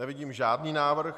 Nevidím žádný návrh.